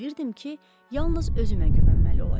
Bilirdim ki, yalnız özümə güvənməli olacağam.